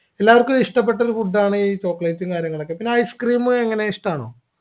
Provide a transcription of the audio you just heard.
എല്ലാവർക്കും ഇഷ്ടപ്പെട്ടൊരു food ആണ് ഈ chocolate ഉം കാര്യങ്ങളൊക്കെ പിന്നെ ice cream എങ്ങനെ ഇഷ്ടാണോ